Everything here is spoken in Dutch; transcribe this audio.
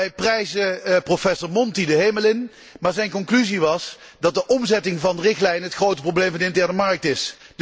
Wij prijzen professor Monti de hemel in, maar zijn conclusie was dat de omzetting van de richtlijn het grote probleem van de interne markt is.